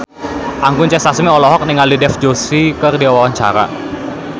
Anggun C. Sasmi olohok ningali Dev Joshi keur diwawancara